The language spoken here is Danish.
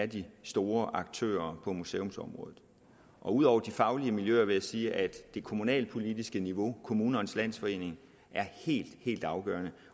de store aktører på museumsområdet ud over de faglige miljøer vil jeg sige at det kommunalpolitiske niveau kommunernes landsforening er helt helt afgørende